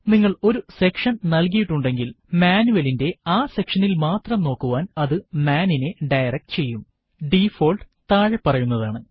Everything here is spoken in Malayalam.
നിങ്ങൾ ഒരു സെക്ഷൻ നൽകിയിട്ടുണ്ടെങ്കിൽ മാനുവലിന്റെ ആ സെക്ഷനിൽ മാത്രം നോക്കുവാൻ അതു മാൻ നിനെ ഡയറക്ട് ചെയ്യും ഡിഫോൾട്ട് താഴെ പറയുന്നതാണ്